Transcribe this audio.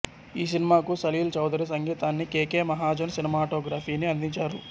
ఈ సినిమాకు సలీల్ చౌదరి సంగీతాన్నీ కెకె మహాజన్ సినిమాటోగ్రఫీని అందించారు